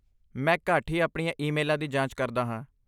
ਮੈਂ ਘੱਟ ਹੀ ਆਪਣੀਆਂ ਈਮੇਲਾਂ ਦੀ ਜਾਂਚ ਕਰਦਾ ਹਾਂ।